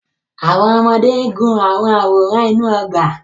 Àwọn ọmọdé ń gun àwọn àwòrán inú ọgbà.